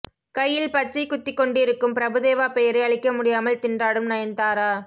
கையில் பச்சை குத்திக்கொண்டிருக்கும் பிரபுதேவா பெயரை அழிக்க முடியாமல் திண்டாடும் நயன்தாரா